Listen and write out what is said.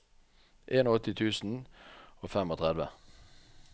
åttien tusen og trettifem